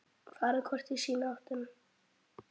Farið hvort í sína áttina.